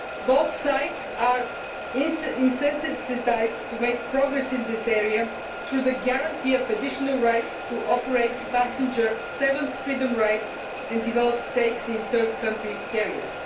Both sides have an incentive to make progress in this area through the guarantee of additional rights to operate passenger seventh freedom rights and develop stakes in third country carriers.